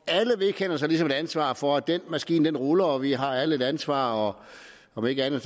vedkender sig ligesom et ansvar for at den maskine ruller vi har alle et ansvar og om ikke andet